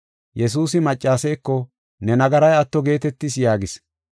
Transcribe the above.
Yesuusi maccaseeko, “Ne nagaray atto geetetis” yaagis.